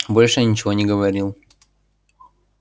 больше я ничего не говорил